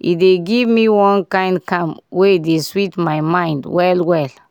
e dey give me one kind calm wey dey sweet my mind well well.